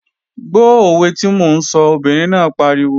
Gbó òwe tí mò ń sọ, obìnrin náà pariwo!